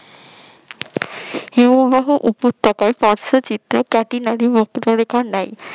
হিমবাহ উপত্যকায় পার্শ্ব চিত্রে কয়টি নদী ও নেয়